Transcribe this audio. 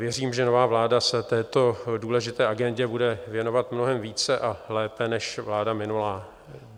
Věřím, že nová vláda se této důležité agendě bude věnovat mnohem více a lépe, než vláda minulá.